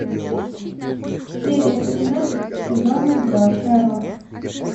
серия пятнадцать сезона два шерлок